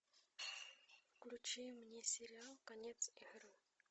включи мне сериал конец игры